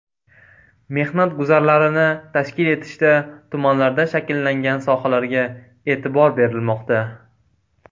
Mehnat guzarlarini tashkil etishda tumanlarda shakllangan sohalarga e’tibor berilmoqda.